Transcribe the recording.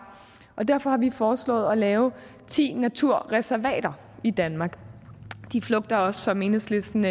og derfor har vi foreslået at lave ti naturreservater i danmark og de flugter som enhedslisten